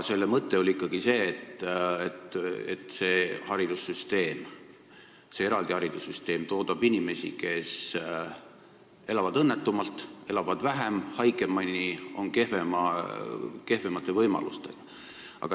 Selle mõte oli ikkagi see, et eraldi haridussüsteem toodab inimesi, kes elavad õnnetumalt, elavad vähem ja haigemini ning on kehvemate võimalustega.